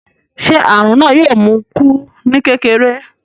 Ṣé àrùn náà yóò mú un kú ní kékeré?